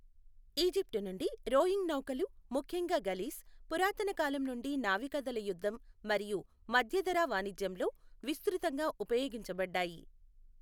Egypt నుండి, rowing నౌకలు, ముఖ్యంగా గలీస్, పురాతన కాలం నుండి నావికాదళ యుద్ధం మరియు మధ్యధరా వాణిజ్యంలో విస్తృతంగా ఉపయోగించబడ్డాయి.